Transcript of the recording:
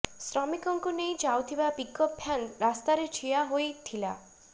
ଶ୍ରମିକଙ୍କୁ ନେଇ ଯାଉଥିବା ପିକଅପ୍ ଭ୍ୟାନ ରାସ୍ତାରେ ଠିଆ ହୋଇତିଲା